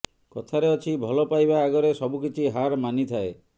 କଥାରେ ଆଛି ଭଲ ପାଇବା ଆଗରେ ସବୁକିଛି ହାର ମାନିଥାଏ